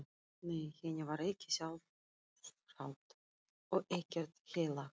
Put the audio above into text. Nei, henni var ekki sjálfrátt og ekkert heilagt.